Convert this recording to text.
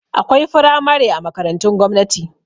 Akwai firamare a makarantun gwamnati